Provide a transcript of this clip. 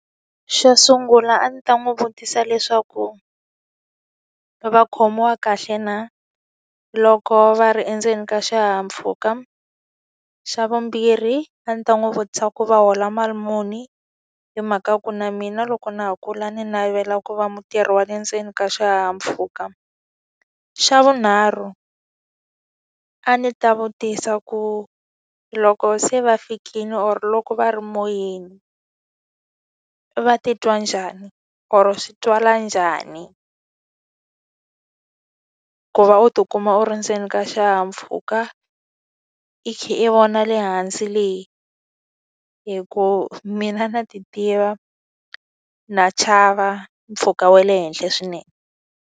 Xo sungula a ndzi ta n'wi vutisa leswaku, va khomiwa kahle na loko va ri endzeni ka xihahampfhuka? Xa vumbirhi a ndzi ta n'wi vutisa ku va hola mali muni? Hi mhaka ku na mina loko na ha kula ndzi navela ku va mutirhi wa le ndzeni ka xihahampfhuka. Xa vunharhu, a ndzi ta vutisa ku loko se va fikile or loko va ri moyeni i va titwa njhani or swi twala njhani ku va u tikuma u ri ndzeni ka xihahampfhuka, i kha i vona le hansi le. Hikuva mina na ti tiva, na chava mpfhuka wa le henhla swinene.